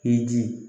I ji